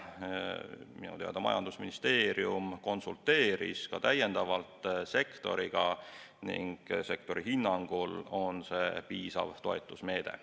Minu teada majandusministeerium konsulteeris ka täiendavalt sektoriga ning sektori hinnangul on see piisav toetusmeede.